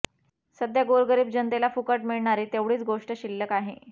सध्या गोरगरीब जनतेला फुकट मिळणारी तेवढीच गोष्ट शिल्लक आहे